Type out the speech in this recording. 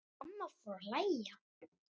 Mamma fór að hlæja.